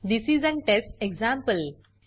this is an test example